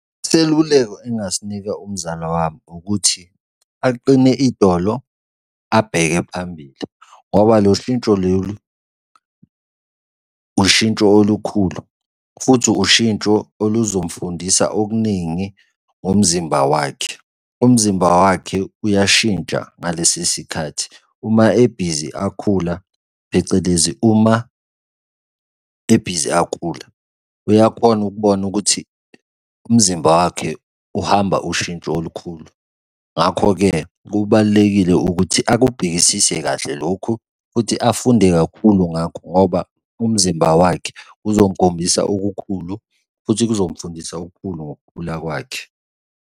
Iseluleko engingasinika umzala wami ukuthi aqine idolo abheke phambili ngoba lo shintsho lolu ushintsho olukhulu futhi ushintsho oluzomfundisa okuningi ngomzimba wakhe. Umzimba wakhe uyashintsha ngalesi sikhathi, uma ebhizi akhula phecelezi uma ebhizi akhula uyakhona ukubona ukuthi umzimba wakhe uhamba ushintsho olukhulu. Ngakho-ke kubalulekile ukuthi akubhekisise kahle lokhu futhi afunde kakhulu, ngakho ngoba umzimba wakhe uzomkhombisa okukhulu futhi kuzomfundisa okukhulu ngokukhula kwakhe.